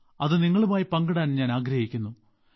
അത് നിങ്ങളുമായി പങ്കിടാൻ ഞാൻ ആഗ്രഹിക്കുന്നു